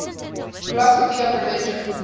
philosophy of religion